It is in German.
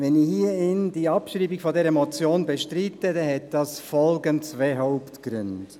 Wenn ich hier die Abschreibung dieser Motion bestreite, hat das folgende zwei Hauptgründe: